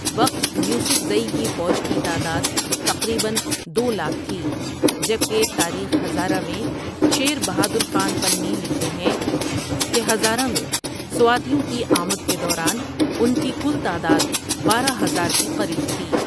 وقت یوسفذٸ کی فوج کی تعداد تقریبأ دو لاکھ تھی جبکہ تاریخ ھذارہ میں شیر بہادر خان پنی لکھتے ہیکہ ھذارہ میں سواتیوں کے امد کے دوران انکی کل تعداد بارہ ھذار کے قریب تھی ۔